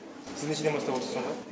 сіз нешеден бастап отырсыз сонда